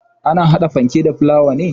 Ana hada fanke da fulawa ne.